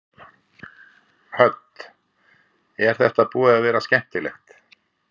Hödd: Er þetta búið að vera skemmtilegt?